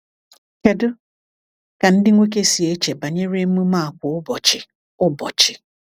Kedu ka ndị nwoke si eche banyere emume a kwa ụbọchị? ụbọchị?